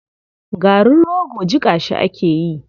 Garin rogo jiƙa shi ake yi.